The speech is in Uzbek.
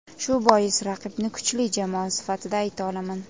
Shu bois raqibni kuchli jamoa sifatida ayta olaman.